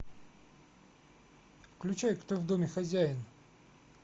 включай кто в доме хозяин